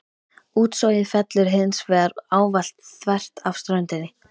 Útsogið fellur hins vegar ávallt þvert af ströndinni.